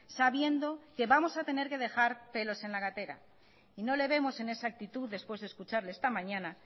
sabiendo que vamos a tener que dejar pelos en la gatera no le vemos en esa actitud después de escucharle esta mañana